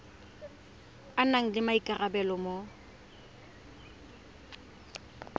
a nang le maikarabelo mo